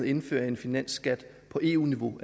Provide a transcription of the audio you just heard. indføre en finansskat på eu niveau